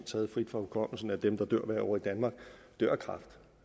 taget frit fra hukommelsen af dem der dør hvert år i danmark